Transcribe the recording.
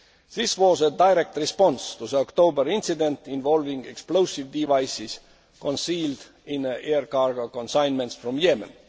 security. This was a direct response to the October incident involving explosive devices concealed in air cargo consignments